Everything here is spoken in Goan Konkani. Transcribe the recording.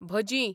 भजी